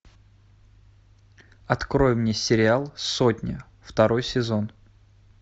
открой мне сериал сотня второй сезон